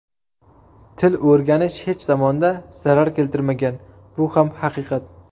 Til o‘rganish hech zamonda zarar keltirmagan, bu ham haqiqat.